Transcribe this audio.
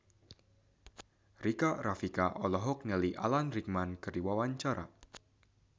Rika Rafika olohok ningali Alan Rickman keur diwawancara